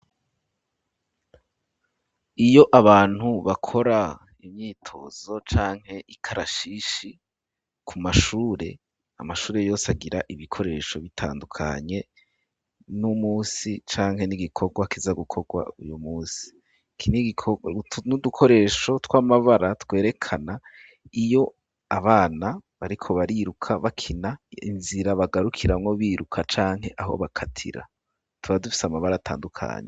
Iyo abantu bakora imyitozo canke ikarashishi ku mashure, Amashure yose agira ibikoresho bitandukanye n'umusi canke n'igikorwa kiza gukorwa uyu musi utu n'udukoresho tw'amabara twerekana iyo abana bariko bariruka bakina inzira bagarukiramwo biruka canke aho bakatira tuba dufise amabara atandukanye